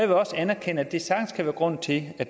vil også anerkende at det sagtens kan være grunden til at